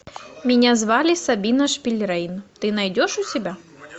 меня звали сабина шпильрейн ты найдешь у себя